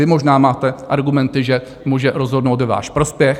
Vy možná máte argumenty, že může rozhodnout ve váš prospěch.